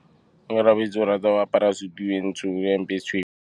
Onkabetse o rata go apara sutu e ntsho ka hempe e tshweu fa a ya tirong.